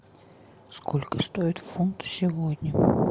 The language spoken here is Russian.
сколько стоит фунт сегодня